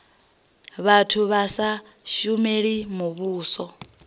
vhathu vha sa shumeli muvhuso